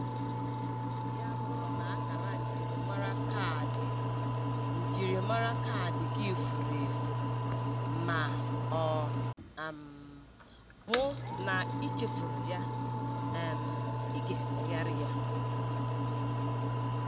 Ya bụrụ na akara njirimara kaadị njirimara kaadị gị furu efu ma ọ um bụ na i chefuru ya, um ị ga-emegharị ya